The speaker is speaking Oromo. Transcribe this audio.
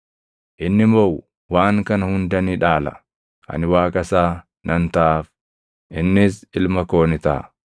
Inni moʼu waan kana hunda ni dhaala; ani Waaqa isaa nan taʼaaf; innis ilma koo ni taʼa.